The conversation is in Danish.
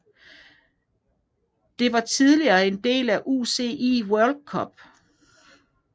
Det var tidligere en del af UCI World Cup